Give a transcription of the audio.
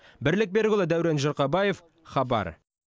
бірлік берікұлы дәурен жұрқабаев хабар